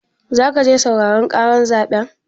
Zaka je sauraren ƙarar zaɓen?